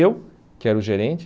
Eu, que era o gerente.